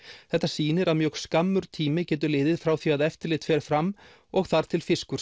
þetta sýnir að mjög skammur tími getur liðið frá því að eftirlit fer fram og þar til fiskur